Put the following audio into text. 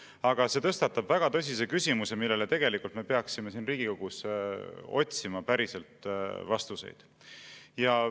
Aga see tõstatab väga tõsise küsimuse, millele me peaksime siin Riigikogus päriselt vastuseid otsima.